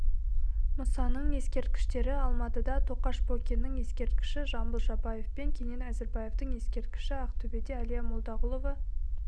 мұсаның ескерткіштері алматыда тоқаш бокиннің ескерткіші жамбыл жабаев пен кенен әзірбаевтің ескерткіштері ақтөбеде әлия молдағұлова